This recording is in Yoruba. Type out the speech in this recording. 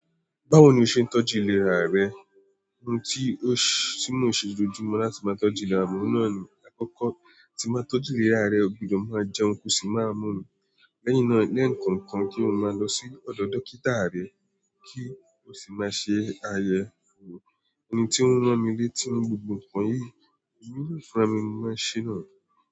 Báwo ni o ṣe ń tọ́jú ìlera rẹ? Ohun tí ó ṣe, tí mò n ṣe lojooju mo láti máa tọ́jú ìlera, oun naa ní àkọ́kọ́ tí màá tọ́jú ìlera rẹ, o gbọdọ̀ máa jẹun kò sì máa mú omi. Lẹ́yìn náà, lẹ́ẹ̀kan kan kí n máa lọ sí ọ̀dọ̀ dókítà rẹ kí ó sì máa ṣe àyẹ̀wò. Ẹni tí ó ń rán mi lé tí oun gbogbo ǹkan yìí, èmi naa fúnra mi ní mo máa n ṣẹ́ náà.